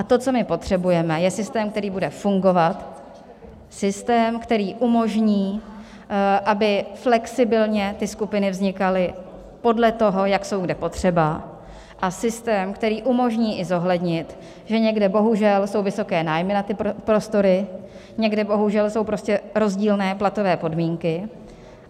A to, co my potřebujeme, je systém, který bude fungovat, systém, který umožní, aby flexibilně ty skupiny vznikaly podle toho, jak jsou kde potřeba, a systém, který umožní i zohlednit, že někde bohužel jsou vysoké nájmy na ty prostory, někde bohužel jsou prostě rozdílné platové podmínky.